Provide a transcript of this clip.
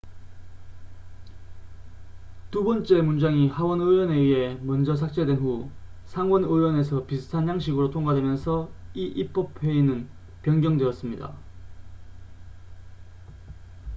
두 번째 문장이 하원 의원에 의해 먼저 삭제된 후 상원 의원에서 비슷한 양식으로 통과되면서 이 입법 회의는 변경되었습니다